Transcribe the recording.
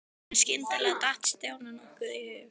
En skyndilega datt Stjána nokkuð í hug.